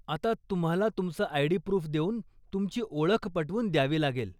आता तुम्हाला तुमचं आय.डी. प्रूफ देऊन, तुमची ओळख पटवून द्यावी लागेल.